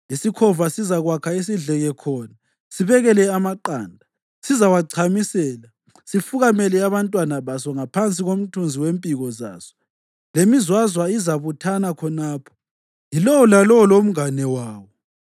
Isikhova sizakwakha isidleke khona sibekele amaqanda, sizawachamisela, sifukamele abantwana baso ngaphansi komthunzi wempiko zaso, lemizwazwa izabuthana khonapho, yilowo lalowo lomngane wawo.